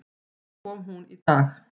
Svo kom hún í dag.